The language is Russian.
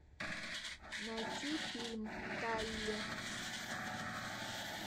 найти фильм талли